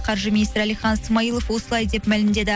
қаржы министрі алихан смаилов осылай деп мәлімдеді